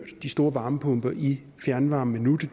de store varmepumper i fjernvarmen endnu det